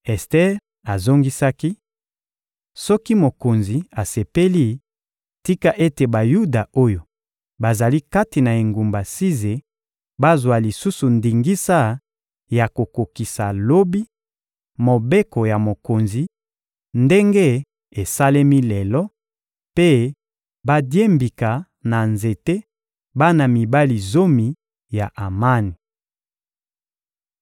Ester azongisaki: — Soki mokonzi asepeli, tika ete Bayuda oyo bazali kati na engumba Size bazwa lisusu ndingisa ya kokokisa lobi, mobeko ya mokonzi ndenge esalemi lelo mpe badiembika na nzete, bana mibali zomi ya Amani.